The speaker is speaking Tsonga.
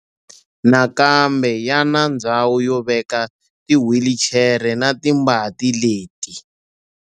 Nakambe ya na ndhawu yo veka tiwhilichere na timbanti leti.